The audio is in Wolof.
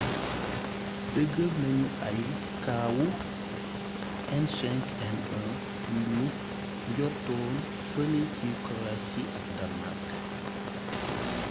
dëgal nañu ay kawu h5n1 yu ñu njortoon fëlé si croitie ak danmark